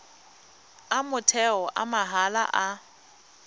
a motheo a mahala a